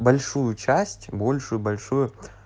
большую часть большую большую